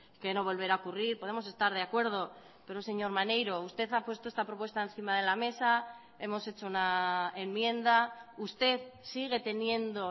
que no volverá a ocurrir podemos estar de acuerdo pero señor maneiro usted ha puesto esta propuesta encima de la mesa hemos hecho una enmienda usted sigue teniendo